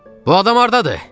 Bu adam hardadır?